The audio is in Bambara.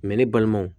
ne balimaw